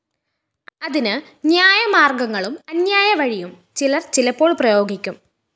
അതിന്‌ ന്യായമാര്‍ഗങ്ങളും അന്യായ വഴിയും ചിലര്‍ ചിലപ്പോള്‍ പ്രയോഗിക്കും